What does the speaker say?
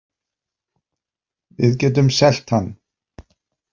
Við getum selt hann.